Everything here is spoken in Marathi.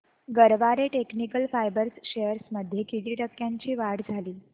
गरवारे टेक्निकल फायबर्स शेअर्स मध्ये किती टक्क्यांची वाढ झाली